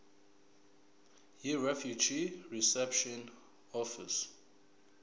yirefugee reception office